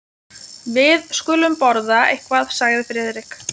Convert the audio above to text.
Við skulum borða eitthvað sagði Friðrik.